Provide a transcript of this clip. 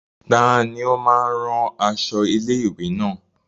Tani ó máa ń rán aṣọ ilé-ìwé náà?